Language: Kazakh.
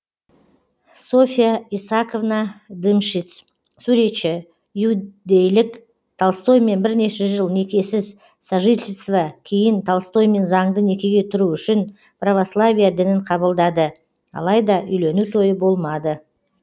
софья исааковна дымшиц суретші иудейлік толстоймен бірнеше жыл некесіз сожительство кейін толстоймен заңды некеге тұру үшін православие дінін қабылдады алайда үйлену тойы болмады